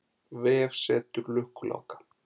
Vefsetur Lukku-Láka.